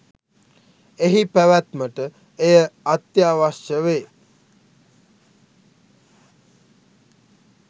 එහි පැවැත්මට එය අත්‍යවශ්‍ය වේ